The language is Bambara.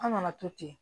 An nana to ten